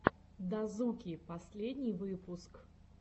дазуки последний выпуск